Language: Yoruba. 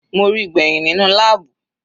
Mo ríi gbẹ̀hìn nínú láàbù.